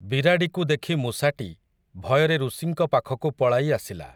ବିରାଡ଼ିକୁ ଦେଖି ମୂଷାଟି, ଭୟରେ ଋଷିଙ୍କ ପାଖକୁ ପଳାଇ ଆସିଲା ।